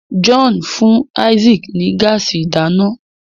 John fún Isaac ní gáàsì ìdáná.